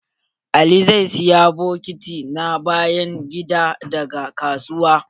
Ali zai siya bokiti na bayan gida daga kasuwa.